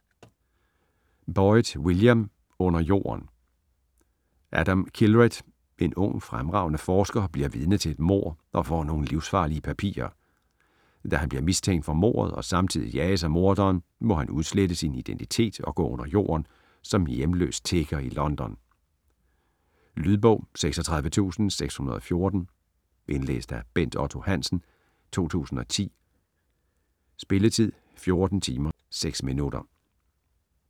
Boyd, William: Under jorden Adam Kindred, en ung, fremragende forsker, bliver vidne til et mord og får nogle livsfarlige papirer. Da han bliver mistænkt for mordet og samtidig jages af morderen, må han udslette sin identitet og gå under jorden som hjemløs tigger i London. Lydbog 36614 Indlæst af Bent Otto Hansen, 2010. Spilletid: 14 timer, 6 minutter.